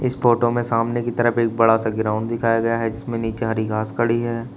इस फोटो में सामने की तरफ एक बड़ा सा ग्राउंड दिखाया गया है जिसमें नीचे हरी घास खड़ी है।